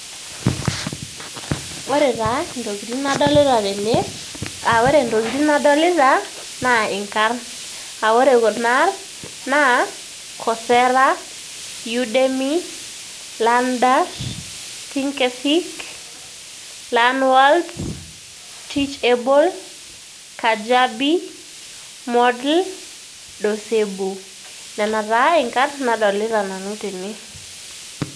Ore taa intokitin nadolita tene aa ore intokitin nadolita naa inkarn, [aa] ore kunaarrn naa:  coursera, udemy, learn dash, think fic, learnworlds, teachable, kajabi, moodle, dosebo. Nena taa inkarn nadolita nanu tene.